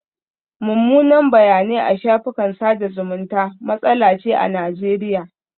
Mummunan bayanai a shafukan sada zumunta matsala ce a Najeriya.